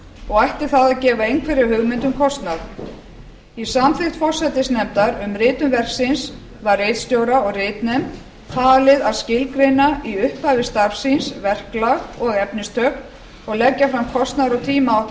og ætti það að gefa einhverja hugmynd um kostnað í samþykkt forsætisnefndar um ritun verksins var ritstjóra og ritnefnd falið að skilgreina í upphafi starfs síns verklag og efnistök og leggja fram kostnaðar og tímaáætlun